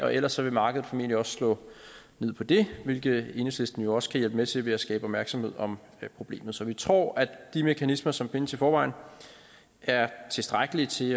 og ellers vil markedet formentlig også slå ned på det hvilket enhedslisten jo også kan hjælpe med til ved at skabe opmærksomhed om problemet så vi tror at de mekanismer som findes i forvejen er tilstrækkelige til